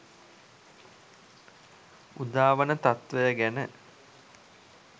උදාවන තත්වය ගැන